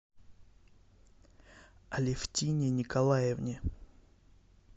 алефтине николаевне